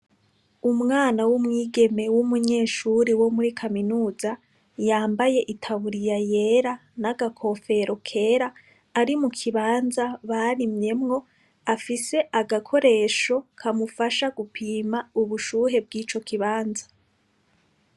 Umwana wu mwigeme w'umunyeshuri wo muri kaminuza yambaye itaburiya yera n'agakofero kera ari mu kibanza barimyemwo afise agakoresho kamufasha gupima ubushuhe bwico kibanza.